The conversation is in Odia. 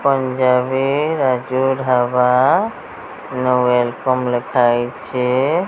ପଞ୍ଜାବୀ ରାଜଢ଼ାବା ନୁ ୱେଲକମ ଲେଖା ହେଇଛେ।